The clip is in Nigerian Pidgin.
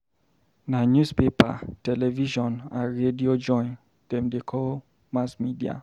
Na newspaper, television and radio join dem dey call mass media.